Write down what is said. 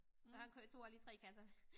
Så han kørte tog bare lige 3 kasser